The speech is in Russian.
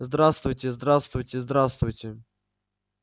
здравствуйте здравствуйте здравствуйте